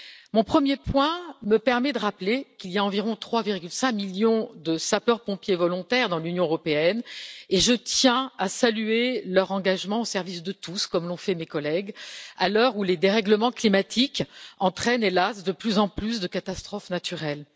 Mon premier point me permet de rappeler qu'il y a environ 3,5 millions de sapeurs pompiers volontaires dans l'Union européenne et je tiens à saluer leur engagement au service de tous, comme l'ont fait mes collègues, à l'heure où les dérèglements climatiques entraînent, hélas, de plus en plus de catastrophes naturelles.